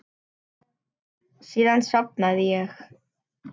Síðan sofnaði ég.